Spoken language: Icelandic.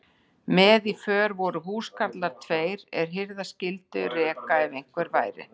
Með í för voru húskarlar tveir, er hirða skyldu reka ef einhver væri.